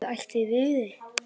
Guð ætli þau viti.